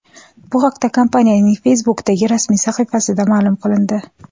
Bu haqda kompaniyaning Facebook’dagi rasmiy sahifasida ma’lum qilindi .